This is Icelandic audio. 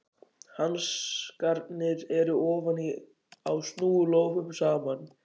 Hanskarnir eru ofan á, snúa lófum saman.